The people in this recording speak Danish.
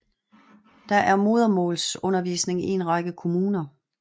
Der er modersmålsundervisning i en række kommuner